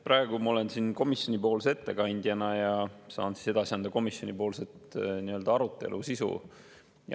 Praegu ma olen siin komisjoni ettekandjana ja saan edasi anda komisjoni arutelu sisu.